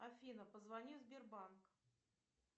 афина позвони в сбербанк